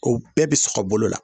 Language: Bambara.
o bɛɛ bɛ sɔgɔ bolo la